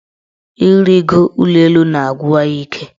Ịrịgo ụlọelu na-agwụwa ya ike.